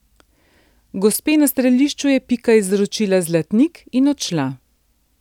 Gospe na strelišču je Pika izročila zlatnik in odšla.